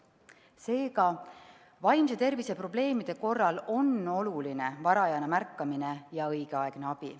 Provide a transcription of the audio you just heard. Seega, vaimse tervise probleemide korral on oluline varajane märkamine ja õigeaegne abi.